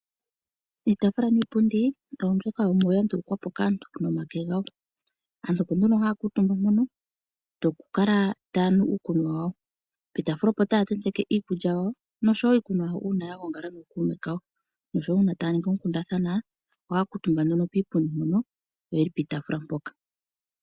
Iitafula niipundi oya ndulukwapo kaantu noonyala dhawo. Aantu opo nduno haya kuutumba mpono oku kala tuya nu uukunwa wawo poshitaafula opo taya tenteke iikulya wayo noshowo iikunwa yawo nookume kawo. Uuna taya ningi oonkundathana ohaya kuutumba piipundi.